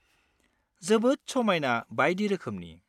जोबोद समायना बायदि रोखोमनि।